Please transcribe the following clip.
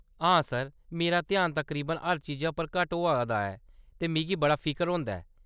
हां सर, मेरा ध्यान तकरीबन हर चीज पर घट्ट होआ दा ऐ, ते मिगी बड़ा फिकर होंदा ऐ।